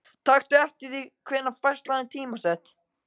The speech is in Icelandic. Taktu eftir því hvenær færslan er tímasett.